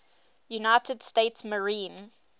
united states marine